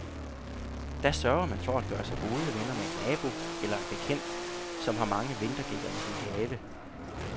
Da sørger man for at gøre sig gode venner med en nabo eller en bekendt, som har mange vintergækker i sin have.